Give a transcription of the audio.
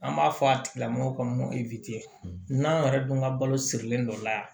An b'a fɔ a tigilamɔgɔ kɔnɔ ko n'an yɛrɛ dun ka balo sirilen dɔ la yan